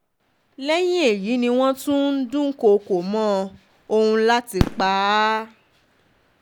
lẹ́yìn èyí ni wọ́n tún ń dúnkookò mọ́ ọn láti pa á